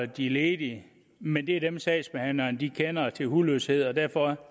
de ledige men det er dem sagsbehandlerne kender til hudløshed og derfor